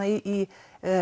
í